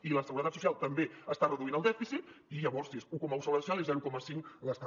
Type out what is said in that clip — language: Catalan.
i la seguretat social també està reduint el dèficit i llavors sí és un coma un seguretat social i zero coma cinc l’estat